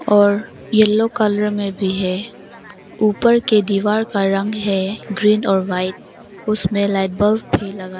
और yellow colour में भी है ऊपर का दीवाल रंग है ग्रीन और व्हाइट उसमें लाइट बल्ब भी लगा --